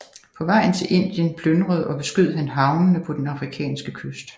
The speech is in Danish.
På vejen til Indien plyndrede og beskød han havnene på den afrikanske kyst